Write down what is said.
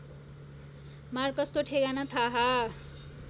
मार्कसको ठेगाना थाहा